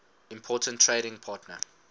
important trading partner